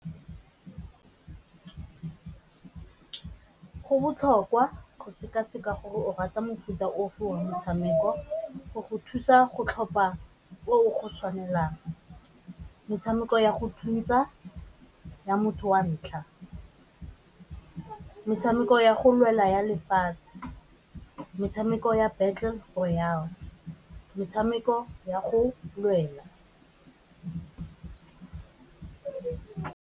Go botlhokwa go seka-seka gore o rata mofuta ofe wa metshameko go go thusa go tlhopha o go tshwanelang, metshameko ya go thusa ya motho wa ntlha, metshameko ya go lwela ya lefatshe, metshameko ya battle for metshameko ya go lwela.